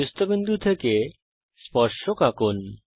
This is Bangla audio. বহিস্থিত বিন্দু থেকে স্পর্শক আঁকুন